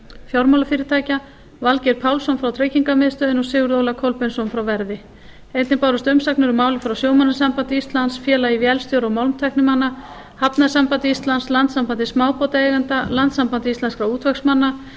fjármálafyrirtækja valgeir pálsson frá tryggingamiðstöðinni og sigurð óla kolbeinsson frá verði einnig bárust umsagnir um málið frá sjómannasambandi íslands félagi vélstjóra og málmtæknimanna hafnasambandi íslands landssambandi smábátaeigenda landssambandi íslenskra útvegsmanna